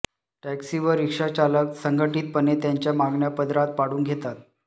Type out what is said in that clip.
taxi व रिक्षाचालक संघटितपणे त्यांच्या मागण्या पदरात पाडून घेतात